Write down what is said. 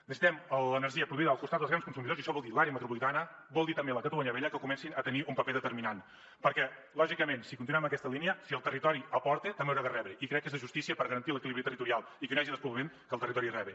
necessitem l’energia produïda al costat dels grans consumidors i això vol dir l’àrea metropolitana vol dir també la catalunya vella que comencin a tenir un paper determinant perquè lògicament si continuem en aquesta línia si el territori aporta també haurà de rebre i crec que és de justícia per garantir l’equilibri territorial i que no hi hagi despoblament que el territori rebi